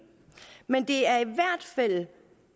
men det er i hvert fald